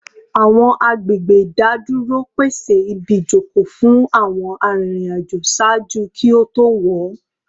Awọn agbegbe idaduro pese ibijoko fun awọn aririn ajo ṣaaju ki o to wọ